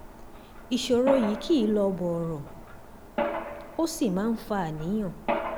ìṣòro yìí kì í lọ bọ̀rọ̀ ó sì máa ń fa àníyàn